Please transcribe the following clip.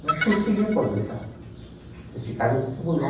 Mas consegui aposentar, nesse cargo de tribunal.